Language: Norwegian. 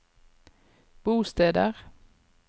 bosteder